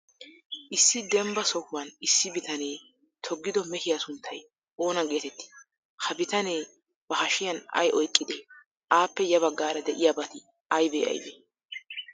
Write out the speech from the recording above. Issi dembba sohuwan issi bitanee toggido mehiyaa sunttay oona geetettii? Ha bitanee bahashiyan ay oyqqidee? Appe ya baggaara de'iyaabati aybee aybee?